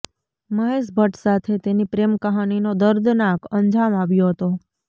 મહેશ ભટ્ટ સાથે તેની પ્રેમ કહાનીનો દર્દનાક અંજામ આવ્યો હતો